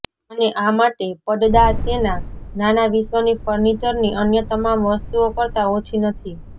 અને આ માટે પડદા તેના નાના વિશ્વની ફર્નિચરની અન્ય તમામ વસ્તુઓ કરતાં ઓછી નથી